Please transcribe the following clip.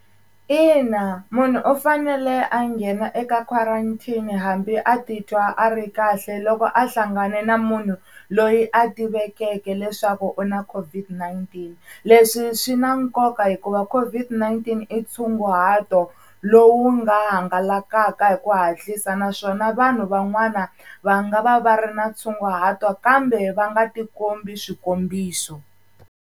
Ina munhu u fanele a nghena eka quarantine hambi a titwa a ri kahle loko a hlangane na munhu loyi a tivekeke leswaku u na COVID-19. Leswi swi na nkoka hikuva COVID-19 i tshunguhato lowu nga hangalaka hi ku hatlisa. Naswona vanhu van'wana va nga va va ri na tshunguhato kambe va nga tikombi swikombiso.